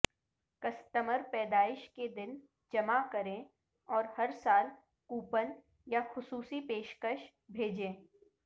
customer پیدائش کے دن جمع کریں اور ہر سال کوپن یا خصوصی پیشکش بھیجیں